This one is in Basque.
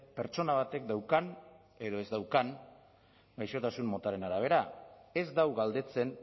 pertsona batek daukan edo ez daukan gaixotasun motaren arabera ez du galdetzen